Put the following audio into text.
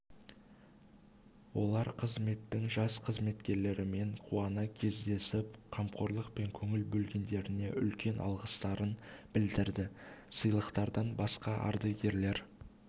олар қызметтің жас қызметкерлерімен қуана кездесіп қамқорлық пен көңіл бөлгендеріне үлкен алғыстарын білдірді сыйлықтардан басқа ардагерлер